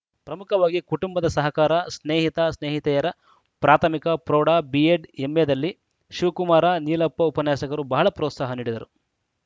ಪ್ರಮುಖವಾಗಿ ಕುಟುಂಬದ ಸಹಕಾರ ಸ್ನೇಹಿತ ಸ್ನೇಹಿತೆಯರ ಪ್ರಾಥಮಿಕ ಪ್ರೌಢ ಬಿಎಡ್‌ ಎಂಎದಲ್ಲಿ ಶಿವಕುಮಾರ ನೀಲಪ್ಪ ಉಪನ್ಯಾಸಕರು ಬಹಳ ಪ್ರೋತ್ಸಾಹ ನೀಡಿದರು